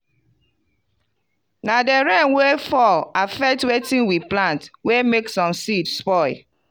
na di rain wey fall affect wetin we plant wey make some seed spoil.